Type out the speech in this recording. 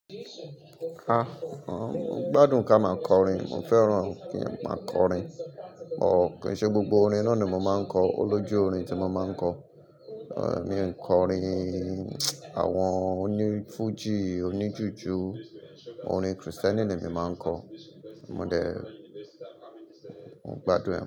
Mo gbádùn kí a máa kọrin, mo fẹ́ràn kí a máa kọrin, kíì ṣe gbogbo orin náà ni mo máa ń kọ, olójú orin tí mo máa ń kọ, ehn mi ò kọ orin àwọn onífújì, oníjuju, orin Kristẹni ni emi máa ń kọ. Mo dẹ, mo gbádùn ẹ.